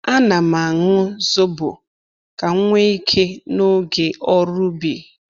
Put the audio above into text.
A na'm aṅụ zobo ka m nwee ike n’oge ọrụ ubi.